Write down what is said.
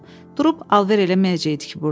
Durub alver eləməyəcəkdik ki, burda.